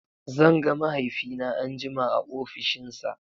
Zan ga mahaifina anjima a ofishinsa.